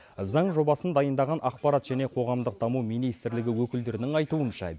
заң жобасын дайындаған ақпарат және қоғамдық даму министрлігі өкілдерінің айтуынша